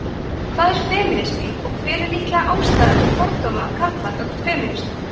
hvað er femínismi og hver er líkleg ástæða til fordóma karla gagnvart femínistum